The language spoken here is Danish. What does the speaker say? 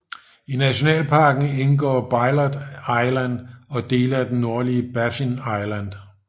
I nationalparken indgår Bylot Island og dele af det nordlige Baffin Island